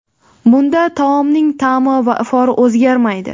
Bunda taomning ta’mi va ifori o‘zgarmaydi.